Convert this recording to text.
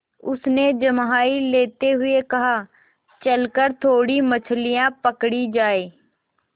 उसने जम्हाई लेते हुए कहा चल कर थोड़ी मछलियाँ पकड़ी जाएँ